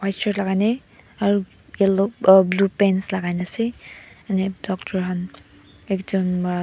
chair lagai ne aru yellow oh blue panits lagai na ase lab doctor khan ekjon ba.